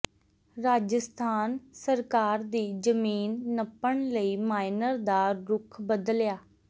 ਰਾਜਸਥਾਨ ਸਰਕਾਰ ਦੀ ਜ਼ਮੀਨ ਨੱਪਣ ਲਈ ਮਾਈਨਰ ਦਾ ਰੁੱਖ ਬਦਲਿਆ